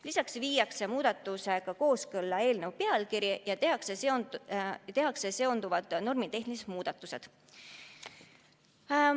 Lisaks muudetakse seetõttu eelnõu pealkirja ja tehakse seonduvad normitehnilised muudatused.